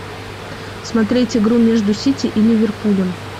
смотреть игру между сити и ливерпулем